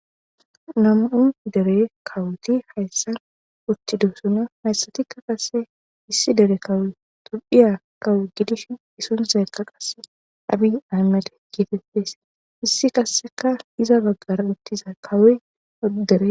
nam7un dere kawuti hayssan utti duhusuno hayssatikka qase issi dere kawuy tubphiya kawu gidish isunsekka qasse abi aymale geetepfese issi qasseka iza baggara uttiza kawu odere